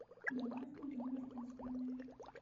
добавь мой номер в избранные